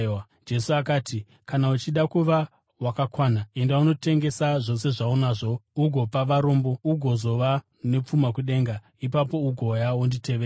Jesu akati, “Kana uchida kuva wakakwana, enda unotengesa zvose zvaunazvo ugopa varombo, ugozova nepfuma kudenga. Ipapo ugouya wonditevera.”